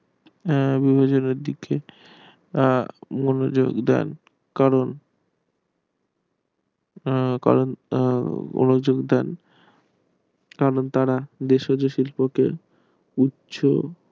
বিভাজনের দিকে মনোযোগ দেন করণ তখন তারা ভেষজ শিল্পকে উচ্চারণ